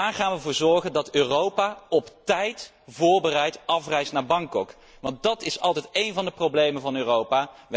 Hoe gaan wij ervoor zorgen dat Europa op tijd voorbereid afreist naar Bangkok? Want dat is altijd één van de problemen van Europa.